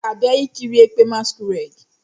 M ga-abia ikiri ekpe" masquerade."